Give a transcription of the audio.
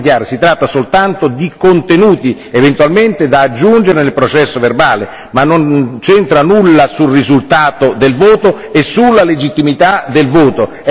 Questo è molto chiaro, si tratta soltanto di contenuti, eventualmente da aggiungere nel processo verbale, ma non c'entra nulla sul risultato del voto e sulla legittimità del voto.